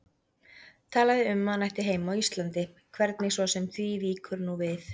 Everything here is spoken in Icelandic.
Talaði um að hann ætti heima á Íslandi, hvernig svo sem því víkur nú við.